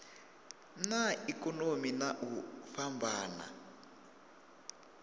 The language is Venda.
na ikonomi na u fhambana